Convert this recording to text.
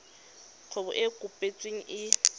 kgwebo e e kopetsweng e